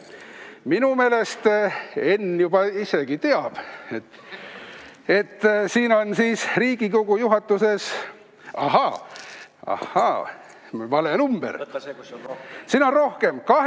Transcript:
Minu meelest Enn juba ise ka teab, et ta on siin Riigikogu juhatuses olnud 809 päeva.